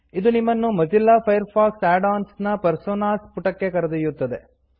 ಇದು ನಿಮ್ಮನ್ನು Mozilla Firefox add ons ನ ಪರ್ಸೋನಾಸ್ ಪುಟಕ್ಕೆ ಕರೆದೊಯ್ಯುತ್ತದೆ